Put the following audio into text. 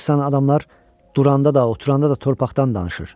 Baxırsan adamlar duranda da, oturanda da torpaqdan danışır.